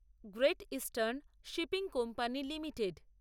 great eastern shipping company limited